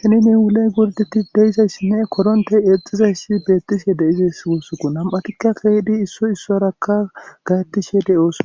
henine wuley gordetti deizay si mee korontey eexxizayssi beettishe de7izess wussuku nam7atikka keeydi issoy issoraka gayettishe de7oosona.